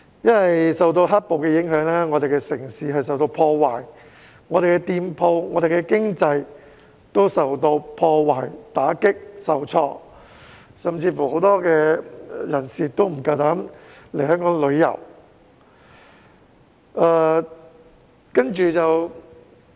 因為受到"黑暴"影響，我們的城市受到破壞，店鋪、經濟亦受到破壞、打擊、受挫，甚至有很多人不敢來港旅遊。